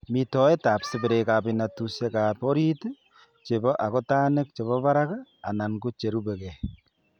Mitoetab seberekab inatushiekab orit chebo akutanik chebo barak anan cherubegee.